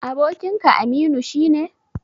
Abokinka Aminu shi ne?